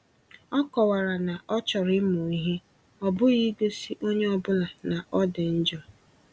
O kọwara na ọ na ọ chọrọ ịmụ ihe, ọ bụghị igosi onye ọ bụla na ọ dị njọ.